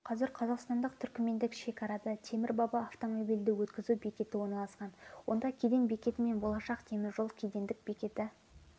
қазір қазақстандық-түркімендік шекарада темір-баба автомобильді өткізу бекеті орналасқан онда кеден бекеті мен болашақ теміржол кедендік бекеті